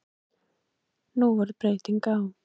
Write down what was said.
Nú varð breyting á.